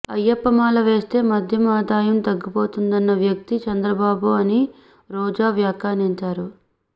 అయ్యప్పమాల వేస్తే మద్యం ఆదాయం తగ్గిపోతుందన్న వ్యక్తి చంద్రబాబు అని రోజా వ్యాఖ్యానించారు